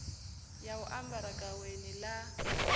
ya u ambara gaweni ḽa